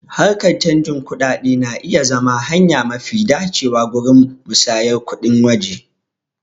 Harkan canjin kuɗaɗe na iya zama hanya mafi dacewa gurin musayar kuɗin waje.